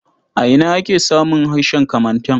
A ina ake samun harshen Kamantan?